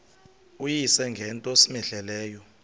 uyise ngento cmehleleyo